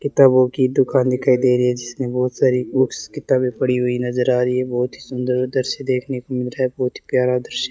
किताबों की दुकान दिखाई दे रही है जिसमें बहुत सारी बुक्स किताबें पड़ी हुई नजर आ रही है बहुत सुंदर दृश्य देखने को मिल रहा है बहुत ही प्यारा दृश्य --